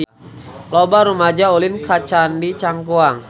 Loba rumaja ulin ka Candi Cangkuang